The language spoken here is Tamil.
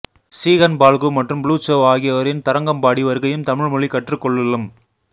சீகன்பால்கு மற்றும் புளுச்சௌ ஆகியோரின் தரங்கம்பாடி வருகையும் தமிழ் மொழி கற்றுக் கொள்ளுலும்